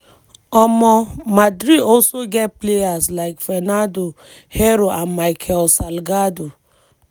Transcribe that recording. um madrid also get players like fernando hierro and micheal salgado.